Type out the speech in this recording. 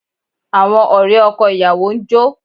Àwọn ọ̀rẹ́ ọkọ ìyàwó ń jó